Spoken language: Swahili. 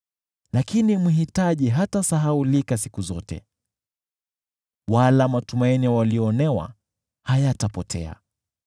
Lakini mhitaji hatasahaulika siku zote, wala matumaini ya walioonewa hayatapotea.